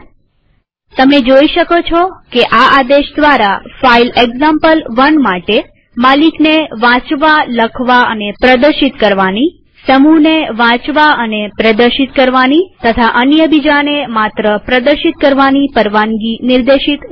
હવે તમે જોઈ શકો છો કે આ આદેશ દ્વારા ફાઈલ એક્ઝામ્પલ1 માટે માલિકને વાંચવાનીલખવાનીપ્રદર્શિત કરવાની પરવાનગીસમૂહને વાંચવાનીપ્રદર્શિત કરવાની પરવાનગી અને અન્ય બીજાને માત્ર પ્રદર્શિત કરવાની પરવાનગી નિર્દેશિત થઇ